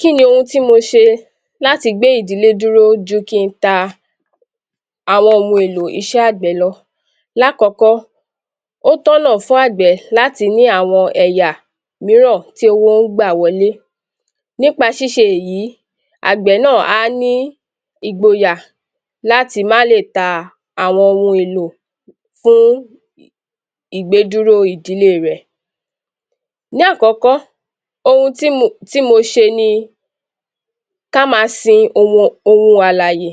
Kí ni ohun tí mo ṣe láti gbé ìdílé dúró ju kí ń ta àwọn ohun èlò iṣẹ́ agbẹ̀ lọ. Lákọ́kọ́, ó tọ̀nà fún agbẹ̀ láti ní àwọn ẹ̀yà mìíràn tí owó ń gbà wọlé, nípa ṣíṣe èyí, agbẹ̀ náà a ní Ìgboyà láti máa lè ta àwọn ohun èlò fún ìgbé dúró ìdílé rẹ. Ní àkọ́kọ́, ohun tí mo ṣe ni, kí a máa sin ohun àlàyé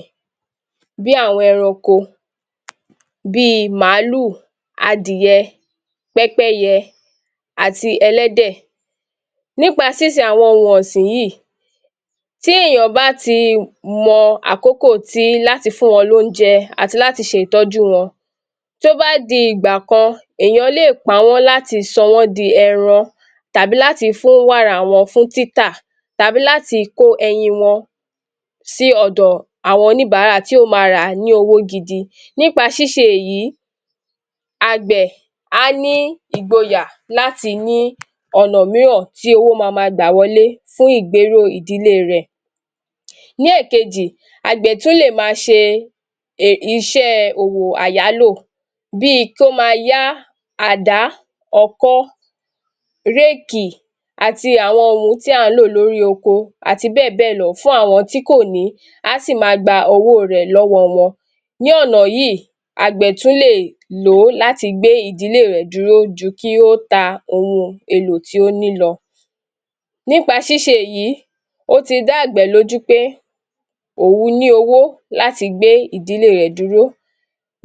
bí àwọn ẹranko, bí Màlúù, Adìyẹ, Pẹ́pẹ́yẹ àti Ẹlẹ́dẹ̀. Nípa sinsin àwọn ohun ọ̀sìn yìí, tí èèyàn bá a ti mọ̀ àkọ́kọ́ láti fún wọn ní oúnjẹ àti ṣe ìtọ́jú wọn, tí ó bá di ìgbà kan, èèyàn lè pa wọn láti sọ di ẹran tàbí láti fún wàrà wọn di títà tàbí láti kó ẹyin wọn sí ọ̀dọ̀ oníbàárà tí ó máa ra ní owó gidi. Nípa ṣíṣe èyí, agbẹ̀ a ní Ìgboyà láti ní ọ̀nà mìíràn tí owó máa máa gbà wọlé fún ìgbéró ìdílé rẹ. Ní èkejì, agbẹ̀ tí ó lè máa ṣe iṣẹ́ òwò àyálò bí kí ó máa yá àdá ọkọ́, réèkì, àti àwọn ohun tí a ń lò lórí oko àti bẹ́ẹ̀ bẹ́ẹ̀ lọ fún àwọn tí kò ní, a sì máa gba owó rẹ lọ́wọ́ wọn. Ní ọ̀nà yìí, agbẹ̀ tún lè lò ó láti gbé ìdílé rẹ dúró ju kí ó ta ohun èlò tí ó ní lọ. Nípa ṣíṣe èyí, ó ti dá agbẹ̀ lójú pé òun ni owó láti gbé ìdílé rẹ dúró.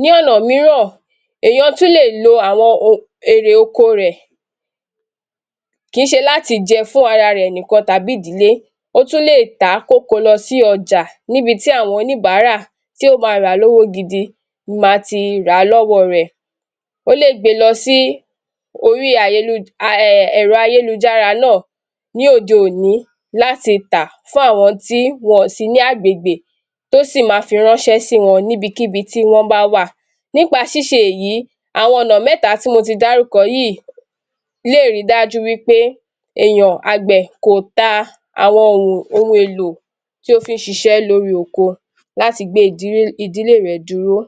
Ní ọ̀nà mìíràn, èèyàn tún lé lo àwọn erè oko rẹ, kì í ṣe láti jẹ fún ara rẹ tàbí ìdílé, ó tún lè tá kí ó kò lọ sí ọjà níbi tí àwọn oníbàárà tí ó máa ra lọ́wọ́ gidi máa tí ra lọ́wọ́ rẹ, ó lé jẹ gbé lọ sí orí hm ayélujára, Ẹ̀rọ ayélujára náà, ní òde-òní láti máa tá fún àwọn tí ó sì ní agbègbè tí ó sì máa fi ránṣẹ́ sí wọn níbi kíbi tí wọn bá wàà. Nípa ṣíṣe èyí, àwọn ọ̀nà mẹ́ta tí mo ti dárúkọ yìí lè rí dájú wí pé, èèyàn, agbẹ̀ kò àwọn ohun èlò tí ó fi ń ṣiṣẹ́ lórí oko láti gbé ìdílé rẹ dúró.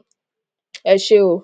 Ẹ ṣe óò.